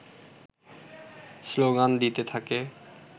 slogan দিতে থাকে